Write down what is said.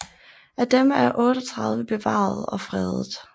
Af dem er 38 bevaret og fredet